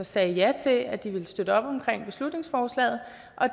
sagde ja til at de ville støtte op om beslutningsforslaget